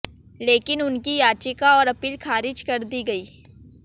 लेकिन उनकी याचिका और अपील खारिज कर दी गईं